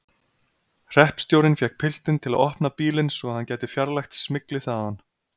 Hreppstjórinn fékk piltinn til að opna bílinn svo hann gæti fjarlægt smyglið þaðan.